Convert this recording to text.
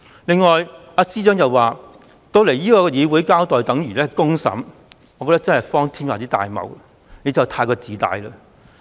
此外，司長亦說前來議會交代便等於接受公審，我覺得真的是荒天下之大謬。